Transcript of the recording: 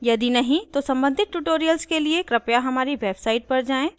यदि नहीं तो सम्बंधित tutorials के लिए कृपया हमारी website पर जाएँ